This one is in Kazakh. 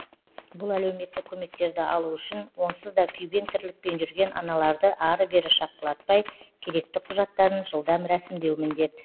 бұл әлеуметтік көмектерді алу үшін онсыз да күйбең тірлікпен жүрген аналарды ары бері шапқылатпай керекті құжаттарын жылдам рәсімдеу міндет